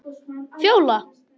Fjóla